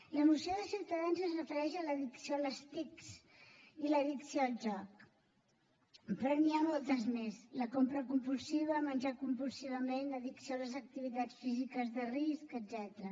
la moció de ciutadans es refereix a l’addicció a les tic i l’addicció al joc però n’hi ha moltes més la compra compulsiva menjar compulsivament addicció a les activitats físiques de risc etcètera